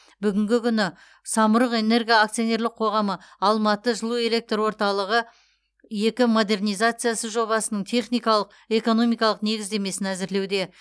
бүгінгі күні самұрық энерго акционерлік қоғамы алматы жылу электр орталығы екі модернизациясы жобасының техникалық экономикалық негіздемесін әзірлеуде